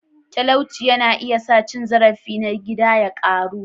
Talauci yana iya sa cin zarafi na gida ya ƙaru.